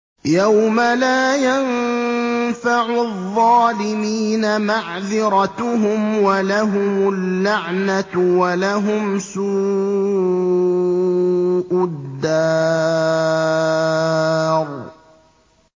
يَوْمَ لَا يَنفَعُ الظَّالِمِينَ مَعْذِرَتُهُمْ ۖ وَلَهُمُ اللَّعْنَةُ وَلَهُمْ سُوءُ الدَّارِ